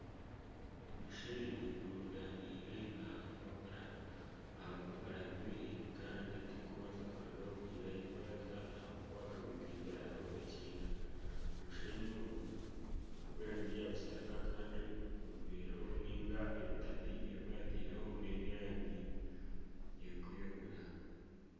Omushenyi gurundaniire aha kapapura aha bupapura bubiri kandi tigurikubaasa kurugaho kugira ahi gwaza ahakuba bakagutimbiraho ekiina. Omushenyi ogu n'ogw'erangi ya kitaka kandi obuveera obu nainga ebipapi ebi baataireho n'eby'erangi erikwiragura.